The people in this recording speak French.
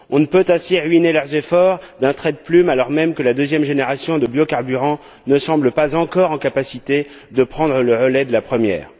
On ne peut ainsi ruiner leurs efforts d'un trait de plume, alors même que la deuxième génération de biocarburants ne semble pas encore en mesure de prendre le relais de la première.